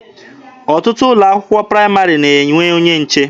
Ọtụtụ ụlọ akwụkwọ praịmarị na-enwe onye nche.